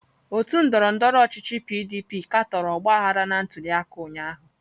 Otu ndọrọndọrọ ọchịchị PDP katọrọ ọgbaghara na ntuliaka ụnyahụ.